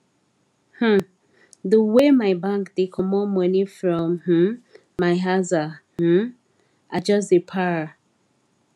um the way my bank dey comot money from um my aza um i just dey para